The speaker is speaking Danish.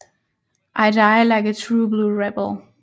I die like a true blue rebel